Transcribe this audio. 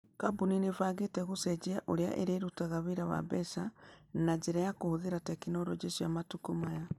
Kambuni nĩ ĩbangĩte gũcenjia ũrĩa ĩrutaga wĩra wa mbeca na njĩra ya kũhũthĩra tekinoronjĩ cia matukũ maya.